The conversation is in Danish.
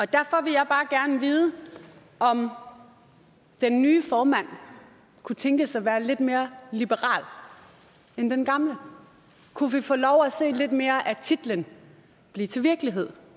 derfor vil jeg bare gerne vide om den nye formand kunne tænkes at være lidt mere liberal end den gamle kunne vi få lov til at se lidt mere af titlen blive til virkelighed